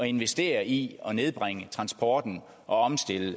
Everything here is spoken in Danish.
investere i at nedbringe transporten og omstille